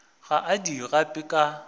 ga a di gape ka